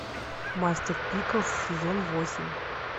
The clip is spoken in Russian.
мастер пиклз сезон восемь